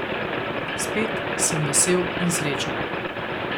Spet sem vesel in srečen.